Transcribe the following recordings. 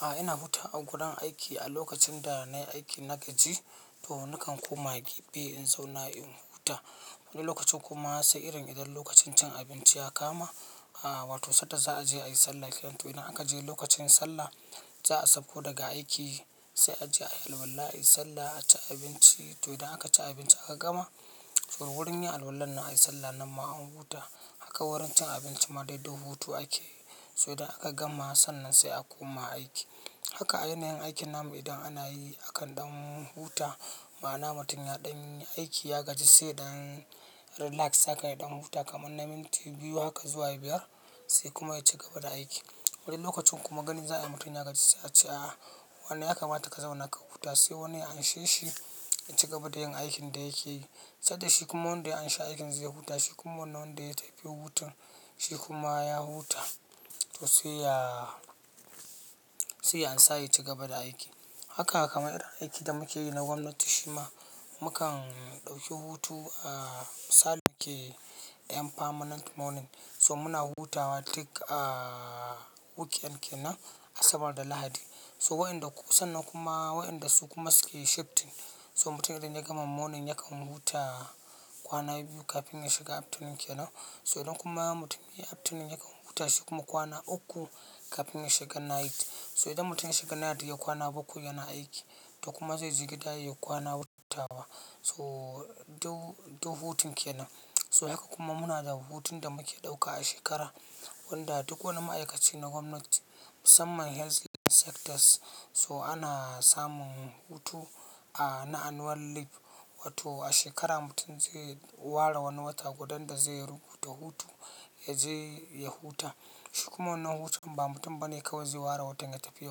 A'a ina huta a gurun aiki a lokacin da na yi aiki na gaji to nakan koma gefe in zauna in huta. Wani lokacin kuma sai irin idan lokacin cin abinci ya kama wato sanda za'aje ayi sallah kenan to idan akaje lokacin sallah za a sauko daga aiki sai a je ayi alwala, ayi sallah, a ci abinci to idan aka ci abinci aka gama, to wurin yin alwalan nan ayi sallah nan ma an huta haka wurin cin abinci ma dai duk hutu ake yi so idan aka gama sannan sai a koma aiki. Haka ai nahin aikin namu idan ana yi akan ɗan huta ma'ana mutum ya ɗan yi aiki ya gaji sai ɗan relax haka ya ɗan huta kamar na minti biyu haka zuwa biyar sai kuma ya cigaba da aiki. Wani lokacin kuma gani za a yi mutum ya gaji sai a ce a'a wannan ya kamata ka zauna ka huta sai wani ya an she shi in cigaba da yin aikin da yake yi, sanda shi kuma wanda ya an sha aikin zai huta shi kuma wannan wanda ya tafi hutun shi kuma ya huta to sai ya, sai ya ansa ya cigaba da aikin. Haka kamar irin aikin da muke yi na gwamnati shima mukan ɗauki hutu a Saturday 'yan permanent morning so muna hutawa tik a weekend kenan Asabar da Lahadi so waɗanda ko sannan kuma waɗanda su kuma suke shifting so mutumin idan ya gama morning yakan huta kwana biyu kafin ya shiga afternoon kenan so idan kuma mutumin ya yi afternoon yakan huta shi kuma kwana uku kafin ya shiga night so idan mutum ya shiga night ya yi kwana bakwai yana aiki to kuma zai jigeda ya yi kwana huta so duk, duk hutun kenan so haka kuma muna da hutun da muke ɗauka a shekara wanda duk wani ma'aikaci na gwamnati musamman health sectors so ana samun hutu na annual leave wato a shekara mutum zai ware wani wata gudan da zai rubuta hutu ya je ya huta shi kuma wannan hutun ba mutum bane kawai zai ware watan ya tafi ya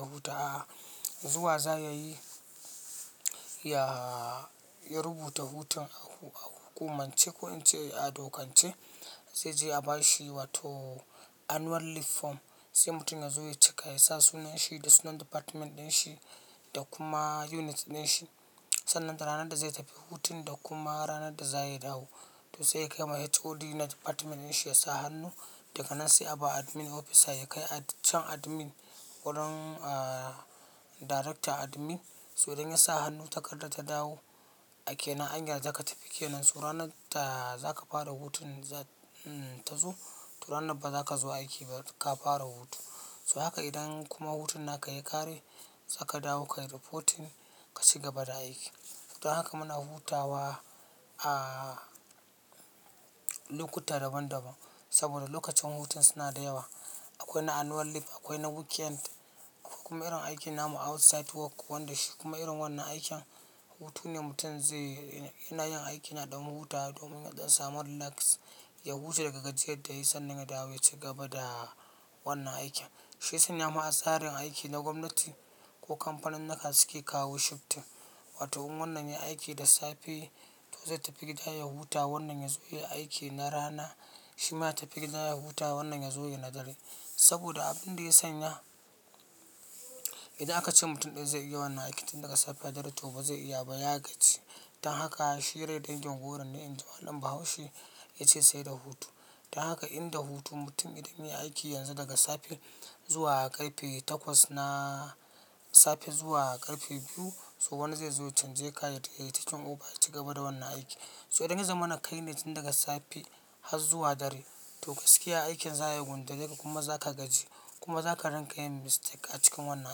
huta a'a zuwa za ya yi, ya, ya rubuta hutun a hukumance ko in ce a dokance zai je a bashi wato annual leave form sai mutum ya zo ya cika ya sa sunan shi da sunan department ɗin shi da kuma unit ɗin shi sannan da ranar da zai tafi hutun da kuma ranar da za ya dawo. To sai ya kai ma HOD na department ɗin shi ya sa hannu daga nan sai a bawa admin officer ya kai a can admin wurin director admin so idan ya sa hannu takardar ta dawo a ke nan an yarda ka tafi kenan so ranar da za ka fara hutun za ta zo to ranar ba za ka zo aiki ba ka fara hutu so haka idan kuma hutun naka ya ƙare za ka dawo kayi reporting ka cigaba da aiki. Don haka muna hutawa lokuta daban daban saboda lokacin hutun suna da yawa, akwai na annual leave akwai na weekend kuma irin aikin namu outside work wanda shi kuma irin wannan aikin hutu ne mutum zai, yana yin aiki na ɗan hutawa domin ya ɗan samu relax ya huta daga gajiyar da yayi sannan ya dawo ya cigaba da wannan aikin. Shiya sanyama a tsarin aiki na gwamnati ko kamfanunuka suke kawo shifting. Wato in wannan yayi aiki da safe, to zai tafi gida ya huta, wannan yazo yayi aiki da rana shima yaje gida ya huta ya zo ya yi na dare saboda abun da ya sanya idan aka ce mutum ɗaya zai iya wannan aikin tun daga safe har dare to ba zai iya ba ya gaji. Dan haka shi rai dangin goro ne inji malam bahaushe ya ce sai da hutu. Dan haka in da hutu mutum idan ya yi aiki yanzu daga safe zuwa ƙarfe takwas na safe zuwa ƙarfe biyu so wannan zai zo can zai kai ya yi takin over ya cigaba da wannan aiki. So idan ya zamana kai ne tun daga safe har zuwa dare to gaskiya aikin za ya gundureka kuma za ka gaji kuma za ka ringa yin mistake a cikin wannan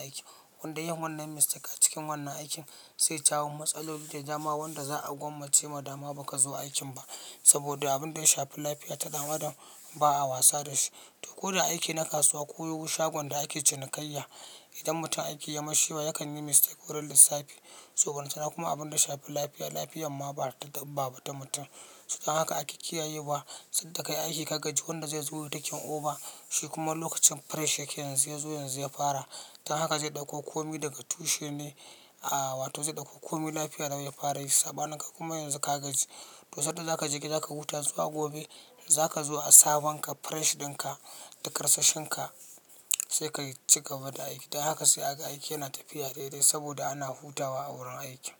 aikin wanda yin wannan mistake a cikin wannan aikin zai jawo matsaloli da dama, wanda za a gwammace ma dama baka zo aikin ba saboda abun da ya shafi lafiya ta ɗan Adam ba a wasa da shi. To ko da aiki na kasuwa ko shagunan da ake cinikayya idan mutum aiki ya yi mashi waya yakan yi mistake wurin lissafi so ballantana ma kuma abun da ya shafi lafiya lafiyar ma ba ta dabba ba, ta mutum. Dan haka ake kiyaye wa sanda ka yi aiki ka gaji wanda zai zo ya yi takin over shi kuma lokacin fresh yake yanzu ya zo yanzu ya fara dan haka zai ɗauko kome daga tushen ne, wato zai ɗauko kome lafiya lau ya fara yinshi sabanin kai kuma yanzu ka gaji to sanda za ka jika za ka huta zuwa gobe da za ka zuwa a sabonka fresh ɗinka da karsashinka sai ka cigaba da aiki. Dan haka sai aka aiki yana tafiya daidai saboda ana hutawa a wurin aiki.